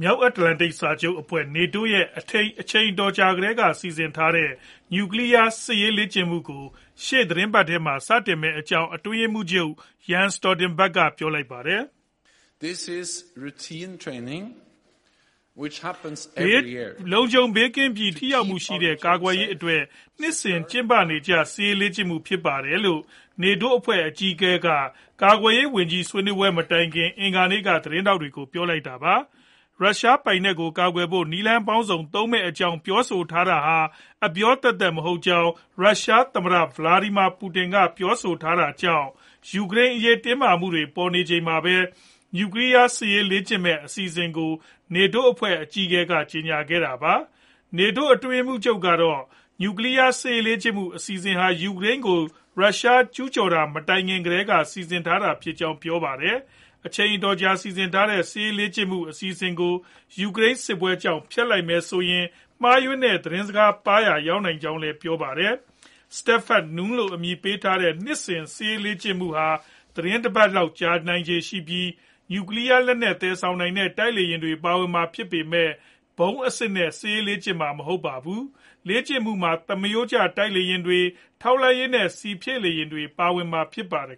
မြောက်အတ္တလန်တိတ် စာချုပ်အဖွဲ့ NATO ရဲ့ အချိန်အတော်ကြာကတည်းက စီစဉ်ထားတဲ့ နျူကလီးယား စစ်ရေးလေ့ကျင့်မှုကို ရှေ့သီတင်းပတ်မှာ စတင်မယ့်အကြောင်း အတွင်းရေးမှူးချုပ် Jens Stoltenberg ကပြောပါတယ်။ "လုံခြုံဘေးကင်းပြီး ထိရောက်မှုရှိတဲ့ ကာကွယ်ရေးအတွက် နှစ်စဉ် ကျင်းပနေကျ စစ်ရေးလေ့ကျင့်မှု ဖြစ်ပါတယ်။" လို့ NATO အဖွဲ့ အကြီးအကဲက ကာကွယ်ရေးဝန်ကြီး ဆွေးနွေးပွဲမတိုင်ခင် အင်္ဂါနေ့က သတင်းထောက်တွေကို ပြောလိုက်တာပါ။ ရုရှားပိုင်နက်ကို ကာကွယ်ဖို့ နည်းလမ်းပေါင်းစုံ သုံးမယ့်အကြောင်း ပြောဆိုထားတာဟာ အပြောသက်သက် မဟုတ်ကြောင်း ရုရှားသမ္မတ Vladimir Putin က ပြောဆိုထားတာကြောင့် ယူကရိန်းအရေး တင်းမာမှုတွေ ပေါ်ပေါက်နေချိန်မှာပဲ နျူကလီးယား စစ်ရေးလေ့ကျင့်မယ့် အစီအစဉ်ကို NATO အဖွဲ့ အကြီးအကဲက ကြေညာခဲ့တာပါ။ NATO အတွင်းရေးမှူးချုပ်ကတော့ နျူကလီးယား စစ်ရေးလေ့ကျင့်မှု အစီအစဉ်ဟာ ယူကရိန်းကို ရုရှားမကျူးကျော်ခင်ကတည်းက စီစဉ်ထားတာဖြစ်ကြောင်း ပြောပါတယ်။ အချိန်အတော်ကြာ စီစဉ်ထားတဲ့ စစ်ရေးလေ့ကျင့်မှု အစီအစဉ်ကို ယူကရိန်းစစ်ကြောင့် ဖျက်လိုက်မယ်ဆိုရင် မှားယွင်းတဲ့ သတင်းစကားပါးရာ ရောက်နိုင်ကြောင်းလည်း ပြောခဲ့တာပါ။ Steadfast Noon လို့ အမည်ပေးထားတဲ့ နှစ်စဉ်စစ်ရေးလေ့ကျင်မှုဟာ သီတင်းတပတ်လောက်ကြာလေ့ရှိပြီး၊ နျူကလီးယားလက်နက် သယ်ဆောင်နိုင်တဲ့ တိုက်လေယာဉ်တွေ ပါဝင်မှာဖြစ်ပေမဲ့ ဗုံးအစစ်တွေနဲ့ လေ့ကျင့်မှာတော့ မဟုတ်ပါဘူး။ လေ့ကျင့်မှုမှာ သမားရိုးကျ တိုက်လေယာဉ်တွေ၊ ထောက်လှမ်းရေးနဲ့ ဆီဖြည့်လေယာဉ်တွေလည်း ပါဝင်မှာ ဖြစ်ပါတယ်